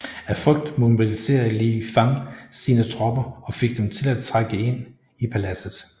Af frygt mobiliserede Li Fang sine tropper og fik dem til at trænge ind i paladset